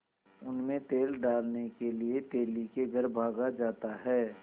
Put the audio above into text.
उनमें तेल डालने के लिए तेली के घर भागा जाता है